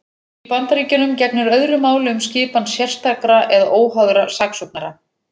Í Bandaríkjunum gegnir öðru máli um skipan sérstakra eða óháðra saksóknara.